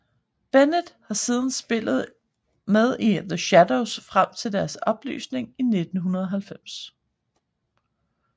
Bennett har siden spillet med The Shadows frem til deres opløsning i 1990